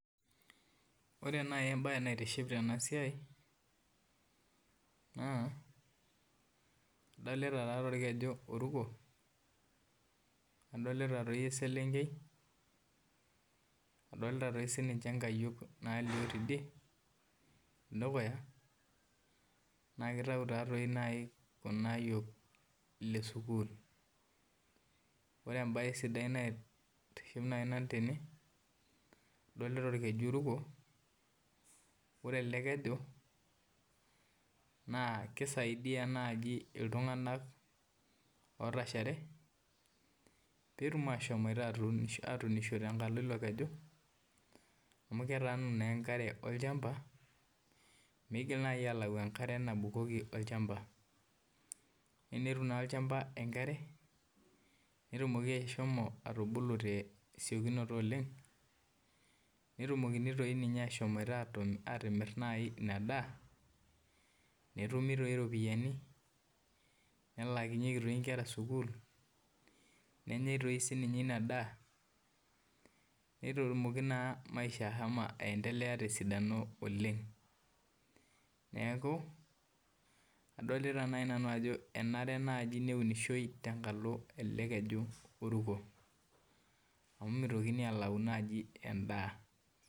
Ore nau embae naitiship tenasiai adolta enkare naruko nadolta eselenkei adolta sinche nkayiok nalio tedukuya nakitau ta nai kulo ayiok le sukul, ore nai entoki naitiship tene adolita orkeju oruko ore elekeju na kisaidia nai ltunganak otashare petum ashom atuunisho tenkalo ilo keju amu ketaanu na enkare tolchamba mekigira nai alau enkare nabukoki olchamba tenetum na olchamba enkare netumoki ashomo atubulu tesiokinoto oleng netum nai ashomoita atimir nai inadaa netumi ropiyani nelaakinyeki nkera sukul nenyai sinye inadaa netumoki na maisha ashomo aendelea tesidano oleng neaku adolta nai nanu enare nai neunishoi tenkalo ele keju oruko amu mitokini nai alau endaa.